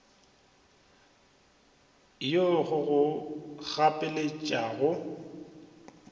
ya go go gapeletša go